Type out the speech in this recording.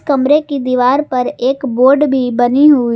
कमरे की दीवार पर एक बोर्ड भी बनी हुई--